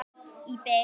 Í byggð